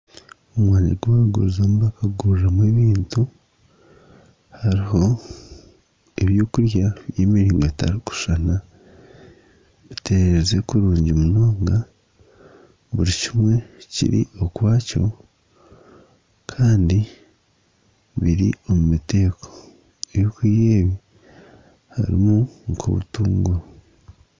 Omwanya ogu barikugurizamu bakaguriraho ebintu hariho ebyokurya by'emiringo etarikushushana, bitererize kurungi munonga buri kimwe kiri okwakyo kandi biri omu miteeko harimu nk'obutunguru